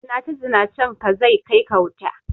Zinace Zinacen ka zai kai ka wuta